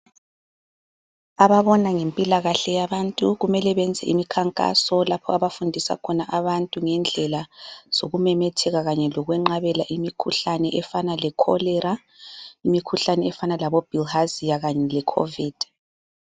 Ababona ngempilakahle yabantu kumele beyenze imikhankaso lapho abafundisa khona abantu ngendlela zokumemetheka kanye lokwenqabela imikhuhlane efana le cholera, imikhuhlane efana labobilharzia kanye le Covid.